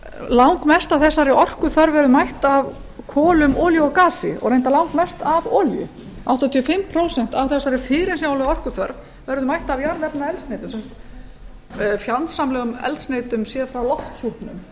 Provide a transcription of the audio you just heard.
langmest af þessari orkuþörf hefur verið mætt af kolum olíu og gasi og reyndar langmest af olíu áttatíu og fimm prósent af þessari fyrirsjáanlegu orkuþörf verður mætt af jarðefnaeldsneytum fjandsamlegum eldsneytum séð frá lofthjúpnum